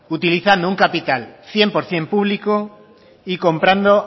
utilizando un capital cien por ciento público y comprando